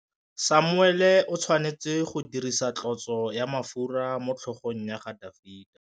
Samuele o tshwanetse go dirisa tlotsô ya mafura motlhôgong ya Dafita.